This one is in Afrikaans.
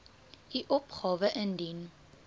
u opgawe indien